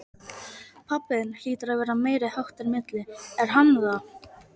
Pabbi þinn hlýtur að vera meiriháttar milli, er hann það?